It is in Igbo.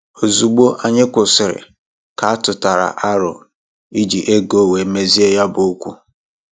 Ozugbo anyị kwụsịrị, ka atụtara aro iji ego wee mezie ya bụ okwu